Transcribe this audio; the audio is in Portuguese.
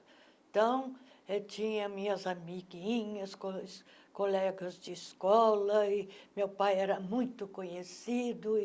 Então, eu tinha minhas amiguinhas, cos colegas de escola e meu pai era muito conhecido e